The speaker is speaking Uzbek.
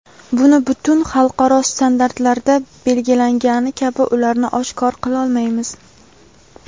Buni butun xalqaro standartlarda belgilangani kabi ularni oshkor qilolmaymiz.